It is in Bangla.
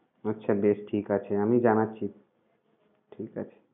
আচ্ছা বেশ ঠিক আছে আমি জানাচ্ছি।